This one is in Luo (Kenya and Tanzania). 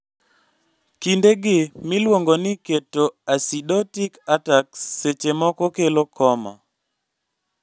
Kinde gi miluongo ni ketoacidotic attacks seche moko kelo coma